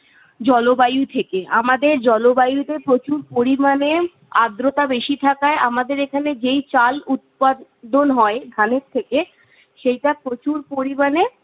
জলবায়ু থেকে। আমাদের জলবায়ুতে প্রচুর পরিমাণে আর্দ্রতা বেশি থাকায় আমাদের এখানে যেই চাল উৎপাদন হয় ধানের থেকে, সেইটা প্রচুর পরিমাণে-